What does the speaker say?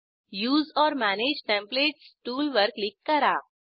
उसे ओर manage templates टूलवर click करा